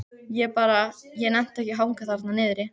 Ég bara. ég nennti ekki að hanga þarna niðri.